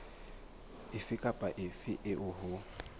efe kapa efe eo ho